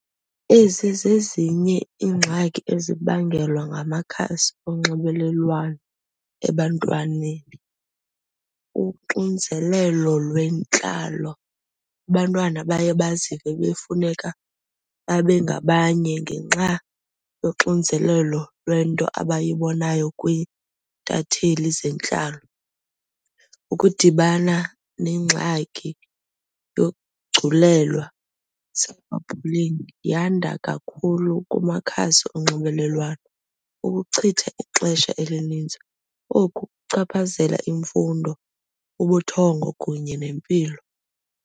Ezi zezinye iingxaki ezibangelwa ngamakhasi onxibelelwano ebantwaneni. Uxinzelelo lwentlalo, abantwana baye bazive befuneka babe ngabanye ngenxa yoxinzelelo lwento abayibonayo kwiintatheli zentlalo. Ukudibana nengxaki yokugculelwa yanda kakhulu kumakhasi onxibelelwano. Ukuchitha ixesha elinintsi oku kuchaphazela imfundo ubuthongo kunye nempilo.